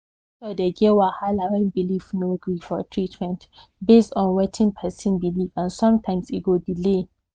doctor dey get wahala when belief no gree for treatment based on wetin person believe and sometimes e go delay